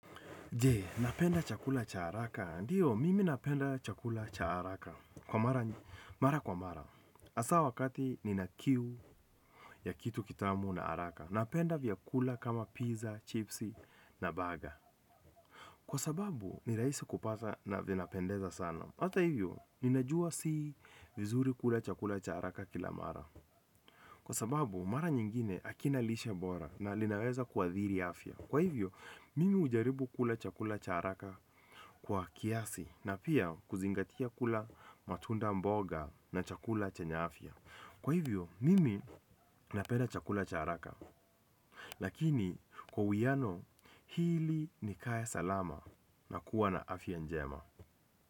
Jee, napenda chakula cha haraka. Ndiyo, mimi napenda chakula cha haraka. Kwa mara mara kwa mara, hasa wakati nina kiu ya kitu kitamu na haraka. Napenda vya kula kama pizza, chipsi na baga. Kwa sababu, ni rahisi kupata na vinapendeza sana. Hatha hivyo ninajua si vizuri kula chakula cha haraka kila mara. Kwa sababu, mara nyingine hakinalishe bora na linaweza kuadhiri afya. Kwa hivyo, mimi hujaribu kula chakula cha haraka kwa kiasi na pia kuzingatia kula matunda mboga na chakula chenya afya. Kwa hivyo, mimi napenda chakula cha haraka. Lakini kwa uwiano hili ni nikaya salama la kuwa na afya njema.